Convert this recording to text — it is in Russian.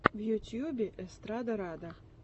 в ютубе эстрадарада